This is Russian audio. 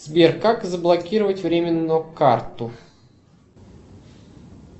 сбер как заблокировать временно карту